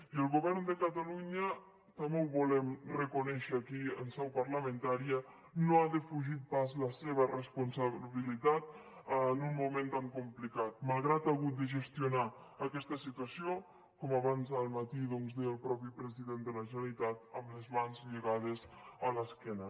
i el govern de catalunya també ho volem reconèixer aquí en seu parlamentària no ha defugit pas la seva responsabilitat en un moment tan complicat malgrat que ha hagut de gestionar aquesta situació com abans al matí doncs deia el mateix president de la generalitat amb les mans lligades a l’esquena